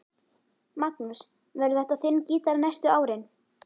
Magnús: Verður þetta þinn gítar næstu árin?